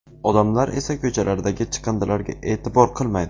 Odamlar esa ko‘chalardagi chiqindilarga e’tibor qilmaydi.